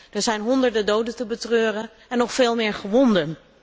Er zijn honderden doden te betreuren en nog veel meer gewonden.